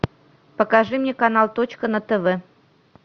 покажи мне канал точка на тв